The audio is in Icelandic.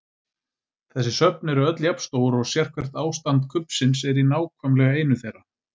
Þessi söfn eru öll jafn stór og sérhvert ástand kubbsins er í nákvæmlega einu þeirra.